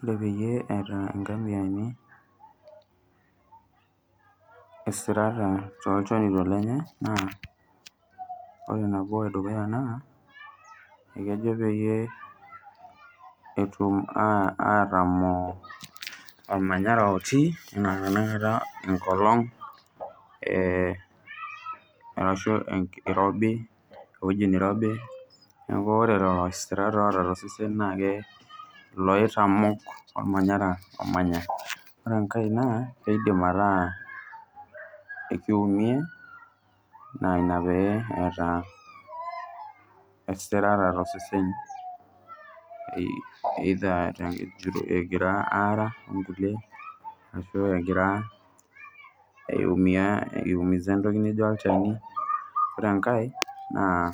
Ore peyie eeta nkamiani esirata tolchonito lenye naa, ore nabo edukuya naa ekejo peyie etuma atamoo olmanyara otii anaa tenakata enkolong, arashu enkirobi, weuji neirobi, naaku ore lelo esirat oota te esesen naa kee loitamok olmanyara omanya. Ore enkae naa keidim ataa ekeumia naa inia peeta esirata tosesen either egira aara onkule ashu egira aumiyaa, aiumisa ntoki nijo olchani, ore enkae naa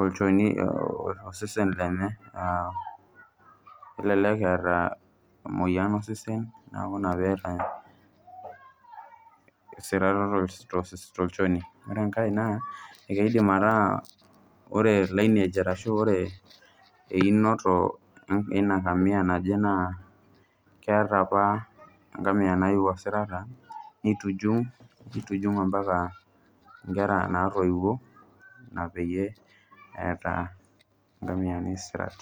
olchoni, osesen lenye olelek eeta moyian osesen naaku inia peeta esirata tolchoni. Ore enkae naa ekeidim metaa ore line age arashu einoto eina nkamia naji naa keata apa nkamia naiyui esirata neituhung',neitujung' ompaka inkera naitoiwuo, ina peeta inkamiyani sirat.